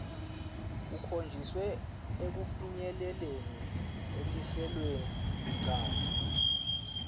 kukhonjiswe ekufinyeleleni etinhlelweninchanti